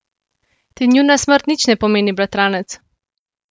Ti njuna smrt nič ne pomeni, bratranec?